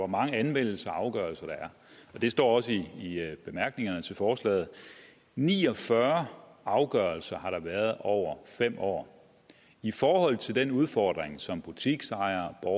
mange anmeldelser og afgørelser der er og det står også i bemærkningerne til forslaget ni og fyrre afgørelser har der været over fem år i forhold til den udfordring som butiksejere og